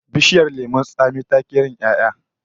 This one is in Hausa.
Bishiyar lemon tsami ta ki yin 'ya'ya